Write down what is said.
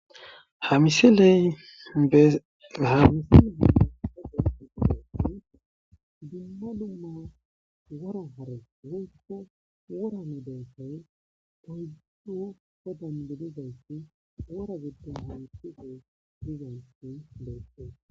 ha misiley ehamisile geda igideti dumma lumma wora hare woyko worame beessay tohuddu godan bilizayssi wora gibdun hamisige dizansi lo7yste